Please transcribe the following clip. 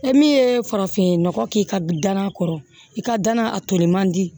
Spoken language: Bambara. E min ye farafin nɔgɔ k'i ka danaya kɔrɔ i ka danna a toli man di